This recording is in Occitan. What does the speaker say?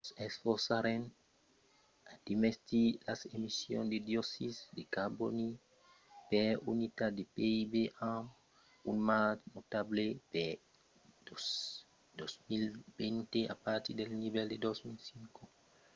"nos esforçarem a demesir las emissions de dioxid de carbòni per unitat de pib amb un marge notable per 2020 a partir del nivèl de 2005, afirmèt hu